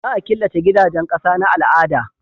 Za a killace gidajen ƙasa na al'ada